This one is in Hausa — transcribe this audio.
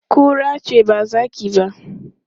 Kura ce ba zaki ba.